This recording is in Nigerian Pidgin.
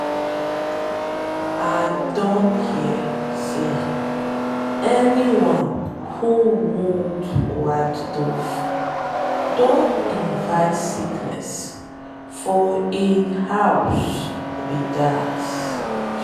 i don hear say anyone who wound white dove don invite sickness for inside hin household be dat.